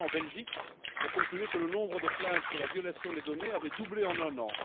Ce matin en Belgique, on concluait que le nombre de plaintes sur la violation des données avait doublé en un an.